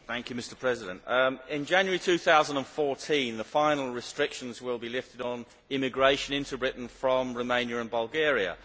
Mr President, in January 2014 the final restrictions will be lifted on immigration into Britain from Romania and Bulgaria.